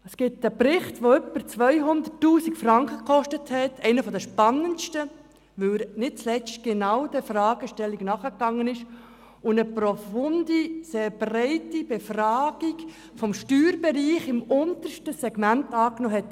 Es gibt einen Bericht, der über 200 000 Franken gekostet hat – einen der spannendsten, weil er nicht zuletzt genau dieser Fragestellung nachgegangen ist und sich einer profunden, sehr breiten Befragung des Steuerbereichs im untersten Segment angenommen hat.